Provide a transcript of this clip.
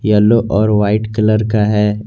Yellow और white colour का है।